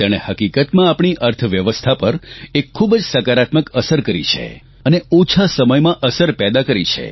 તેણે હકીકતમાં આપણી અર્થવ્યવસ્થા પર એક ખૂબ જ સકારાત્મક અસર કરી છે અને ઓછા સમયમાં અસર પેદા કરી છે